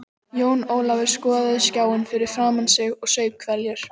Jón Ólafur skoðaði skjáinn fyrir framan sig og saup hveljur.